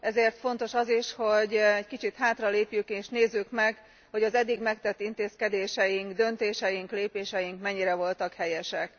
Ezért fontos az is, hogy egy kicsit hátralépjünk és nézzük meg, hogy az eddig megtett intézkedéseink, döntéseink, lépéseink mennyire voltak helyesek.